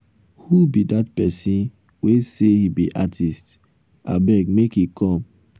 who be dat person wey say he be artist? abeg make he come.